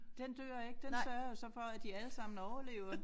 Den dør ikke den sørger jo så for at de alle sammen overlever